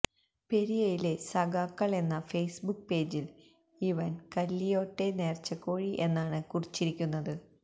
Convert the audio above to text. പെരിയയിലെ സഖാക്കൾ എന്ന Facebook പേജിൽ ഇവൻ കല്ലിയോട്ടെ നേർച്ചക്കോഴി എന്നാണ് കുറിച്ചിരിക്കുന്നത്